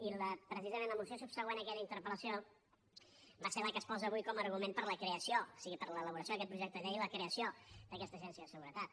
i precisament la moció subsegüent a aquella interpel·lació és la que es posa avui com a argument per a l’elaboració d’aquest projecte de llei per a la creació d’aquesta agència de seguretat